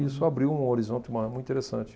Isso abriu um horizonte maior muito interessante.